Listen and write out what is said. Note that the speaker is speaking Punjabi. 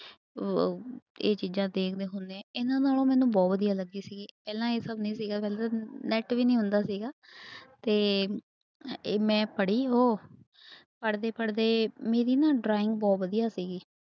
ਅਹ ਇਹ ਚੀਜ਼ਾਂ ਤੇ ਮੈਂ ਹੁਣੇ ਇਹਨਾਂ ਨਾਲੋਂ ਮੈਨੂੰ ਬਹੁਤ ਵਧੀਆ ਲੱਗੀ ਸੀਗੀ ਪਹਿਲਾਂ ਇਹ ਸਭ ਨਹੀਂ ਸੀਗਾ ਪਹਿਲੇ net ਵੀ ਨੀ ਹੁੰਦਾ ਸੀਗਾ ਤੇ ਮੈਂ ਪੜ੍ਹੀ ਉਹ, ਪੜ੍ਹਦੇ ਪੜ੍ਹਦੇ ਮੇਰੀ ਨਾ drawing ਬਹੁ ਵਧੀਆ ਸੀਗੀ।